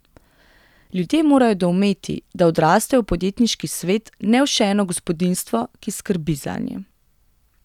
Ljudje morajo doumeti, da odrastejo v podjetniški svet, ne v še eno gospodinjstvo, ki skrbi zanje.